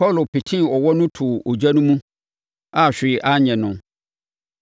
Paulo petee ɔwɔ no too ogya no mu a hwee anyɛ no.